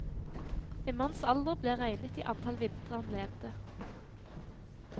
En manns alder ble regnet i antall vintre han levde.